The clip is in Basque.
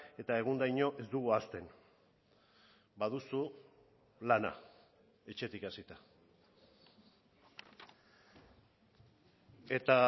eta egundaino ez dugu ahazten baduzu lana etxetik hasita eta